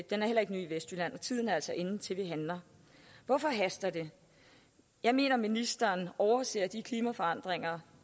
den er heller ikke ny i vestjylland og tiden er altså inde til at vi handler hvorfor haster det jeg mener at ministeren overser de klimaforandringer